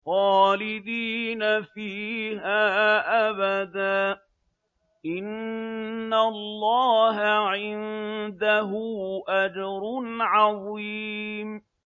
خَالِدِينَ فِيهَا أَبَدًا ۚ إِنَّ اللَّهَ عِندَهُ أَجْرٌ عَظِيمٌ